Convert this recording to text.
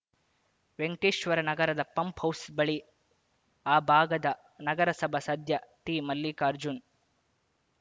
ವೆಂಕಟೇಶ್ವರ ನಗರದ pump house ಬಳಿ ಆ ಭಾಗದ ನಗರಸಭಾ ಸದ್ಯ ಟಿಮಲ್ಲಿಕಾರ್ಜುನ್